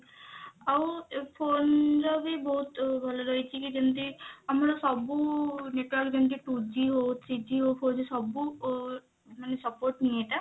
ଆଉ phone ର ବି ବହୁତ ଭଲ ରହିଛି କି ଯେମତି ଆମର ସବୁ network ଯେମିତି two G ହଉ three G ହଉ four G ସବୁ ମାନେ support ହିଁ ଏଟା